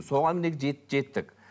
соған міне жеттік